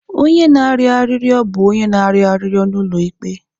Onye na-arịọ arịrịọ bụ onye na-arịọ arịrịọ n'ụlọ ikpe.